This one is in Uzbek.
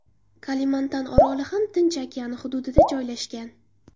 Kalimantan oroli ham Tinch okeani hududida joylashgan.